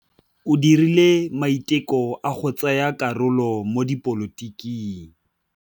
O dirile maitekô a go tsaya karolo mo dipolotiking.